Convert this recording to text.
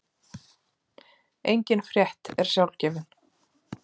Engin frétt er sjálfgefin.